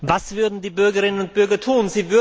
Was würden die Bürgerinnen und Bürger tun?